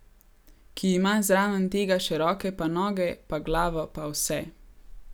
Ki ima zraven tega še roke pa noge pa glavo pa vse.